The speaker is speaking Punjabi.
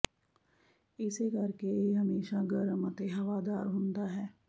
ਇਸੇ ਕਰਕੇ ਇਹ ਹਮੇਸ਼ਾਂ ਗਰਮ ਅਤੇ ਹਵਾਦਾਰ ਹੁੰਦਾ ਹੈ